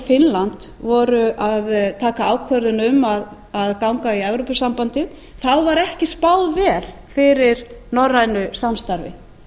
finnland voru að taka ákvörðun um að ganga í evrópusambandið þá var ekki spáð vel fyrir norrænu samstarfi